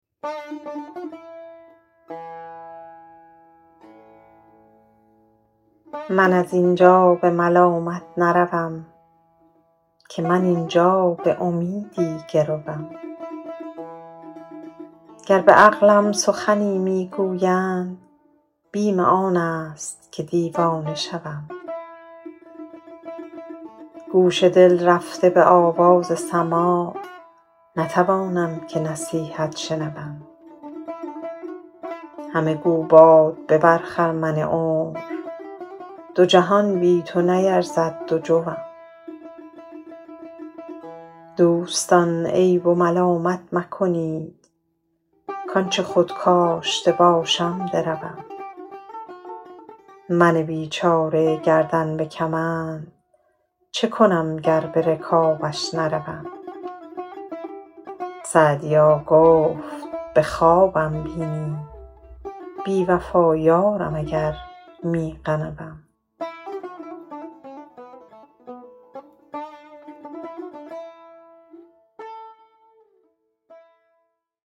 من از این جا به ملامت نروم که من این جا به امیدی گروم گر به عقلم سخنی می گویند بیم آن است که دیوانه شوم گوش دل رفته به آواز سماع نتوانم که نصیحت شنوم همه گو باد ببر خرمن عمر دو جهان بی تو نیرزد دو جوم دوستان عیب و ملامت مکنید کآن چه خود کاشته باشم دروم من بیچاره گردن به کمند چه کنم گر به رکابش نروم سعدیا گفت به خوابم بینی بی وفا یارم اگر می غنوم